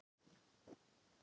Ísadóra, spilaðu tónlist.